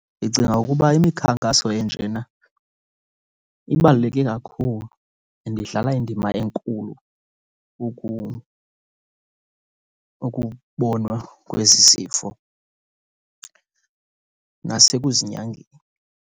Ndicinga ukuba imikhankaso enjena ibaluleke kakhulu and idlala indima enkulu ukubonwa kwezi zifo nasekuzinyangeni.